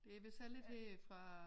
Det vist heller ikke her fra